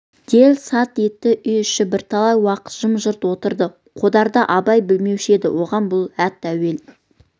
дел-сал етті үй іші бірталай уақыт жым-жырт отырды қодарды абай білмеуші еді оған бұл ат әуелі